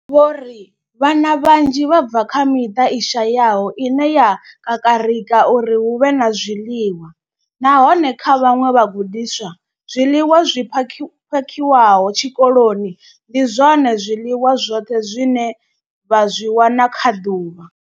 Vho ri, Vhana vhanzhi vha bva kha miṱa i shayaho ine ya kakarika uri hu vhe na zwiḽiwa, nahone kha vhaṅwe vhagudiswa, zwiḽiwa zwi pha zwi phakhiwaho tshikoloni ndi zwone zwiḽiwa zwi zwoṱhe zwine vha zwi wana kha ḓuvha.